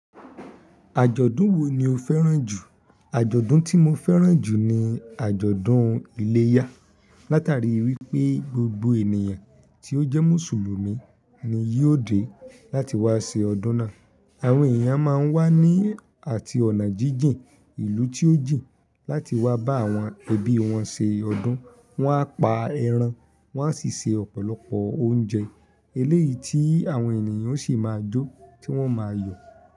Àjọ̀dún wo ni o fẹ́ràn jù? Àjọ̀dún tí mo fẹ́ràn jù ni àjọ̀dún iléyá. Látàrí wípé gbogbo ènìyàn tí ó jẹ́ mùsùlùmí ni yóò dé láti wá ṣe ọdún náà. Àwọn èèyàn máa wà ní àti ọ̀nà jíjìn, ìlú tí ó jìn láti wá bá àwọn ẹbí wọn ṣe ọdún. Wọn á pa ẹran, wọ́n á sì se ọ̀pọ̀lọpọ̀ oúnjẹ eléyìí tí àwọn ènìyàn sì máa jó tí wọ́n máa yọ̀